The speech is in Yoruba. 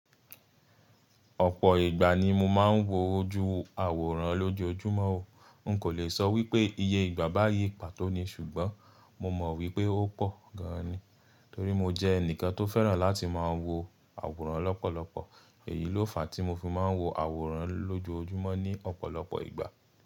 Ọ̀pọ̀ ìgbà ni mo máa ń wo ojú àwòrán lójojúmọ́ o. N kò le sọ wípé iye ìgbà báyìí pàtó ní ṣùgbọ́n mo mọ̀ wípé ó pọ̀ gan ni, torí mo jẹ́ ẹnìkan tó fẹ́ràn láti máa wo àwòrán lọ́pọ̀lọpọ̀. Èyí ló fàá tí mo fi máa ń wo àwòrán lójojúmọ́ ní ọ̀pọ̀lọpọ̀ ìgbà.